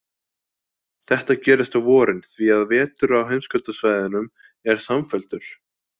Þetta gerist á vorin, því að vetur á heimskautasvæðum er samfelldur.